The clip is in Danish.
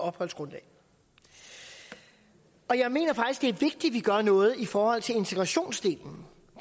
opholdsgrundlag og jeg mener det er vigtigt at vi gør noget i forhold til integrationsdelen